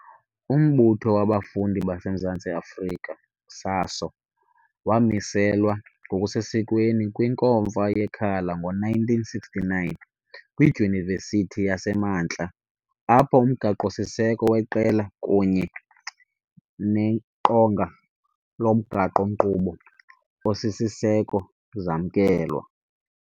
Umbutho wabafundi baseMzantsi Afrika, SASO, wamiselwa ngokusesikweni kwinkomfa yeKhala ngo-1969 kwiDyunivesithi yaseMantla, Apho, umgaqo-siseko weqela kunye neqonga lomgaqo-nkqubo osisiseko zamkelwa.